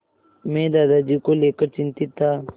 मैं दादाजी को लेकर चिंतित था